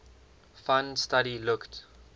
fund study looked